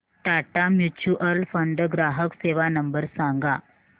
Tata mutual fund ग्राहक सेवा number सांगा